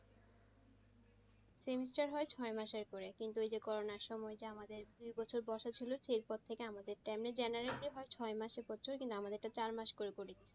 semestar হয় ছয় মাসের করে কিন্তু ওইযে করোনার সময় আমাদের দেড় বছর বসা ছিল সেই পো থেকে আমাদের time এ generally হয় মাসে কিন্তু আমাদেরটা চার মাস করে করে।